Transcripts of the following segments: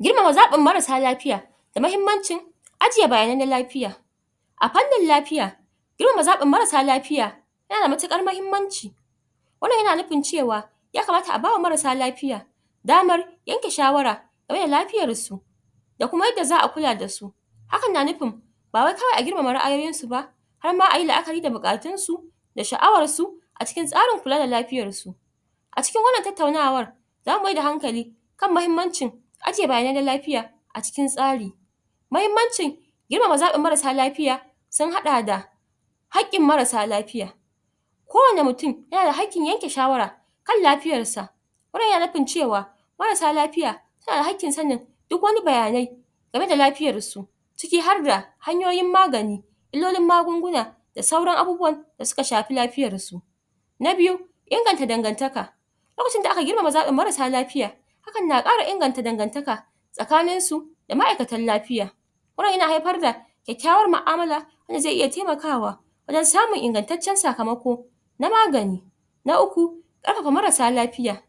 Girmama zaɓin marasa lafiya da muhimmanci ajiye bayanai na lafiya a fannin lafiya girmama zaɓin mara lafiya yana matuƙar muhimmanci wannan yana nufi cewa ya kamata a bawa marasa lafiya damar yanke shawara game da lafiyarsu da kuma yadda za a kula su hakan na nufin ba wai kawai a girmama ra'ayoyinsu ba har ma a yi la'akari da buƙatunsu da sha'awarsu a cikin tsarin kula da lafiyarsu a cikin wannan tattaunawar za mu mai da hankali kan muhimmancin aje rane na lafiya a cikin tsari muhimmanci girmama zaɓin marasa lafiya sun haɗa da; haƙƙin marasa lafiya kowane mutum yana da haƙƙin yanke shawara kan lafiyarsa wannan yana nufin cewa marasa lafiya a haƙƙinsa ne duk wani bayanai game da lafiyarsu ciki har da hanyoyin magani duk wani magunguna da sauran abubuwan da suka shafi lafiyarsu na biyu inganta dangantaka lokacin da aka girmama zaɓin marasa lafiya hakan na ƙara inganta dangantaka tsakaninsu da ma'aikatan lafiya yanayi na haifarda kyakkyawar mu'amala wanda zai iya taimakawa wajen samun ingantaccen sakamako na magani na uku ɗaukaka marasa lafiya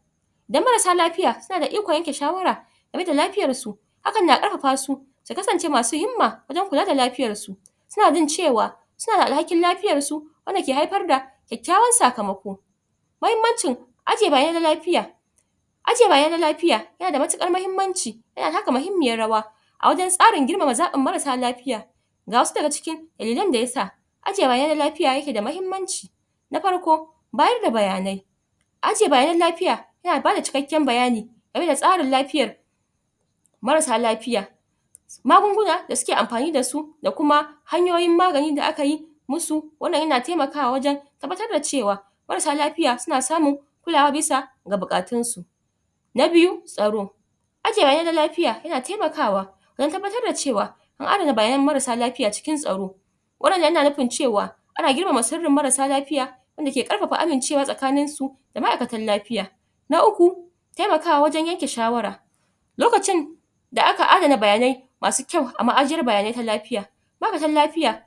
da marasa lafiya suna da ikon yanke shawara rai da lafiyarsu hakan na ƙarfafa su su kasance masu himma wajen kula da lafiyarsu suna jin cewa suna da alhakin lafiyarsu wanda ke haifar da sauran sakamako mahimmancin aje raye na lafiya aje raye na lafiya yana da matuƙar muhimmanci yana taka muhimmiyar rawa a wajen tsarin girmama zaɓin marasa lafiya ga wasu daga cikin dalilan da ya sa ajiye bayanai na lafiya yake da muhimmanci na farko bayar da bayanai ajiye bayanai na lafiya yana bada cikakken bayani game da tsarin lafiyar marasa lsfiya magungunan da suke amfani dasu da kuma hanyoyin maganin da aka yi wasu wannan yana taimakawa wajen tabbatar da cewa marasa lafiya suna samun kulawa bisa da buƙatunsu na biyu tsaro aje raye na lafiya yaana taimakawa an tabbatar da cewa an adana bayanai marasa lafiya cikin tsaro waɗannan na nufin cewa ana girmama sirrin marasa lafiya wanda ke ƙarfafa amincewa tsakaninsu da ma'aikatan lafiya na uku yana kawo wa wajen yanke shawara lokacin da aka adana bayanai a store a ma'ajiyar bayanai na lafiya 'ma'aikatan lafiya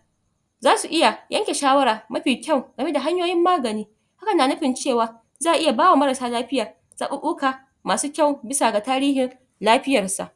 za su iya yanke shawara ma fi kyau game da hanyoyin magani hakan na nufin cewa za a iya bawa marasa lafiya zaɓuɓuka masu kyau bisa tarihin lafiyarsa